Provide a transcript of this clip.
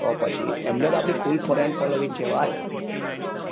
તો પછી એમને તો આપડી full following છે ભાઈ